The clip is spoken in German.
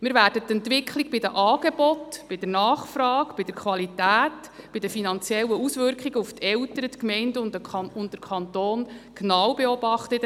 Wir werden die Entwicklung bei Angebot und Nachfrage, bei der Qualität sowie bei den finanziellen Auswirkungen auf die Eltern, die Gemeinden und den Kanton in den nächsten Jahren genau beobachten.